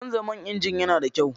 Canza man inji yana da mahimmanci.